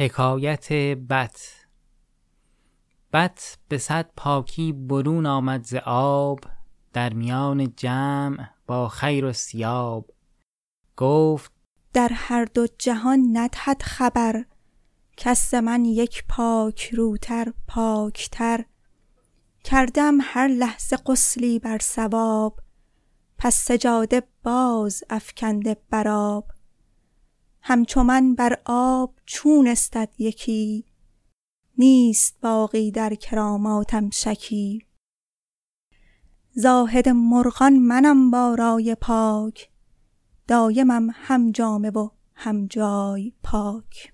بط به صد پاکی برون آمد ز آب در میان جمع با خیرالثیاب گفت در هر دو جهان ندهد خبر کس ز من یک پاک روتر پاک تر کرده ام هر لحظه غسلی بر صواب پس سجاده باز افکنده بر آب همچو من بر آب چون استد یکی نیست باقی در کراماتم شکی زاهد مرغان منم با رأی پاک دایمم هم جامه و هم جای پاک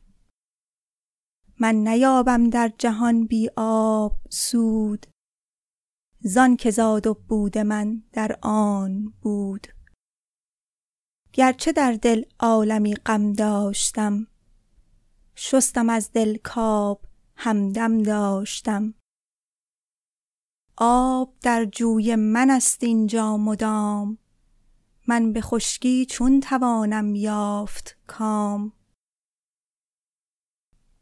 من نیابم در جهان بی آب سود زآن که زاد و بود من در آب بود گرچ در دل عالمی غم داشتم شستم از دل کآب همدم داشتم آب در جوی من ست این جا مدام من به خشکی چون توانم یافت کام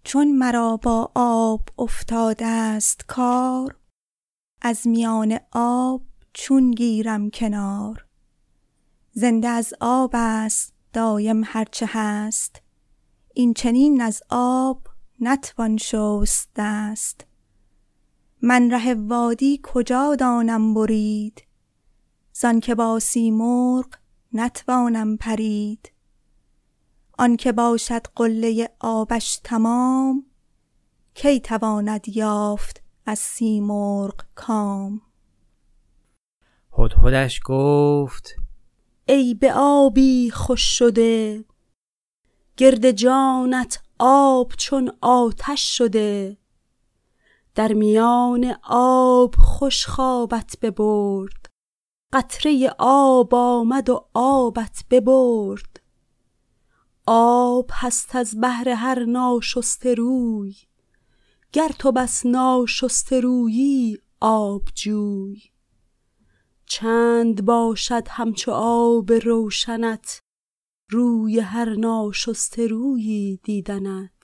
چون مرا با آب افتادست کار از میان آب چون گیرم کنار زنده از آب است دایم هرچ هست این چنین از آب نتوان شست دست من ره وادی کجا دانم برید زآنک با سیمرغ نتوانم پرید آنک باشد قله آبش تمام کی تواند یافت از سیمرغ کام هدهدش گفت ای به آبی خوش شده گرد جانت آب چون آتش شده در میان آب خوش خوابت ببرد قطره آب آمد و آبت ببرد آب هست از بهر هر ناشسته روی گر تو بس ناشسته رویی آب جوی چند باشد همچو آب روشنت روی هر ناشسته رویی دیدنت